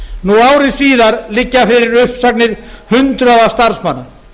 nú ári síðar liggja fyrir uppsagnir hundruða starfsmanna